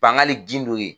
Bangali gindo ye